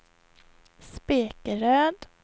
Spekeröd